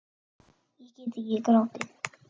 Ég gat ekki grátið.